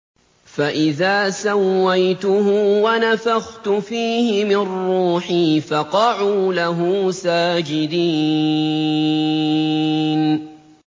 فَإِذَا سَوَّيْتُهُ وَنَفَخْتُ فِيهِ مِن رُّوحِي فَقَعُوا لَهُ سَاجِدِينَ